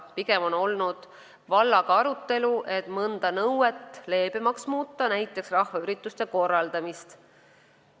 Pigem on vallaga olnud arutelu selle üle, et mõnda nõuet leebemaks muuta, näiteks rahvaürituste korraldamist.